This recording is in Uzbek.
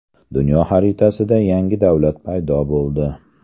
Dunyo xaritasida yangi davlat paydo bo‘ldi.